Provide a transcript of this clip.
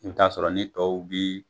I bi t'a sɔrɔ ni tow bi